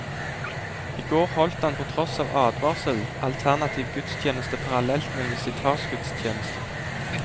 I går holdt han på tross av advarsler, alternativ gudstjeneste parallelt med visitasgudstjenesten.